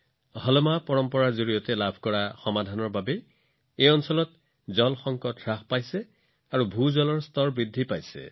হালমা পৰম্পৰাৰ পৰা প্ৰাপ্ত পৰামৰ্শৰ বাবে অঞ্চলটোত পানীৰ সংকট হ্ৰাস পাইছে আৰু ভূগৰ্ভস্থ পানীৰ স্তৰো বৃদ্ধি পাইছে